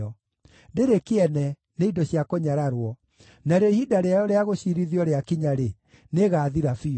Ndĩrĩ kĩene, nĩ indo cia kũnyararwo; narĩo ihinda rĩayo rĩa gũciirithio rĩakinya-rĩ, nĩĩgathira biũ.